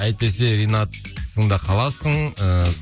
әйтпесе ринаттың да қаласың ыыы